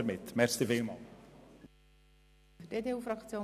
Damit werden wir sparen.